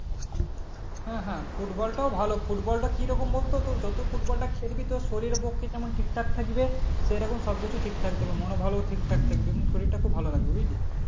হ্যাঁ হ্যাঁ ফুটবলটাও ভালো ফুটবলটা কিরকম বলতো তোর যত ফুটবলটা খেলবি তোর শরীরে পক্ষে তেমন ঠিকঠাক থাকবে সেরকম সবকিছু ঠিকঠাক থাকবে মনও ভালো ঠিকঠাক থাকবে এবং শরীরটা খুব ভালো থাকবে বুঝলি